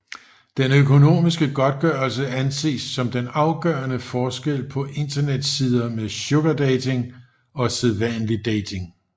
Den økonomiske godtgørelse anses som den afgørende forskel på internetsider med sugardating og sædvanlig dating